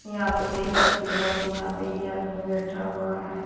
यहां पे देख सकती हो आप यहां पे ये आदमी बैठा हुआ है।